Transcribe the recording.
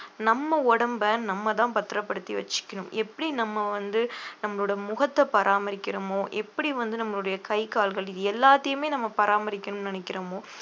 நம்ம உடம்ப நம்மதான் பத்திரப்படுத்தி வச்சுக்கணும் எப்படி நம்ம வந்து நம்மளோட முகத்தை பராமரிக்கிறமோ எப்படி வந்து நம்மளுடைய கை கால்கள் இது எல்லாத்தையுமே நம்ம பராமரிக்கணும்ன்னு நினைக்கிறோமோ